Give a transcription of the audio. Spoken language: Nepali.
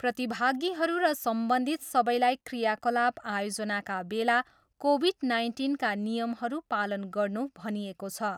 प्रतिभागीहरू र सम्बन्धित सबैलाई क्रियाकलाप आयोजनाका बेला कोभिड नाइन्टिनका नियमहरू पालन गर्नू भनिएको छ।